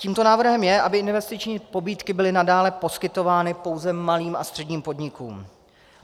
Tímto návrhem je, aby investiční pobídky byly nadále poskytovány pouze malým a středním podnikům.